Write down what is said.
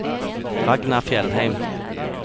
Ragna Fjellheim